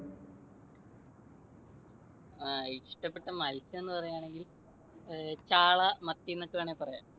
അഹ് ഇഷ്ടപെട്ട മൽസ്യമെന്നു പറയുവാണെങ്കിൽ ചാള, മത്തി ന്നൊക്കെ വേണേൽ പറയാം.